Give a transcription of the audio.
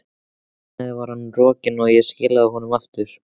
Þar með var hann rokinn, og ég skilaði honum aftur.